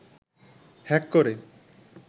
hack করে